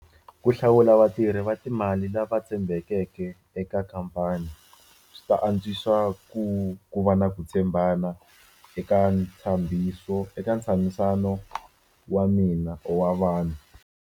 Ku hlawula vatirhi va timali lava tshembekeke eka khampani swi ta antswisa ku ku va na ku tshembana eka eka ntshamisano wa mina wa vanhu.